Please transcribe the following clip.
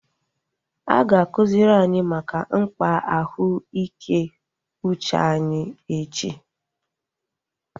A ga-akụziri anyị maka mkpa ahụ ike uche anyi echi